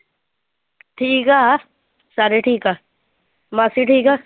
ਠੀਕ ਆ, ਸਾਰੇ ਠੀਕ ਆ, ਮਾਸੀ ਠੀਕ ਆ?